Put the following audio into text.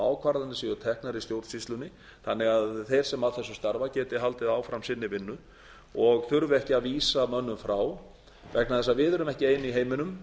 ákvarðanir séu teknar í stjórnsýslunni þannig að þeir sem að þessu starfa geti haldið áfram sinni vinnu og þurfi ekki að vísa mönnum frá vegna þess að við erum ekki ein í heiminum